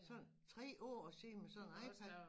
Sådan 3 år og sidde med sådan en iPad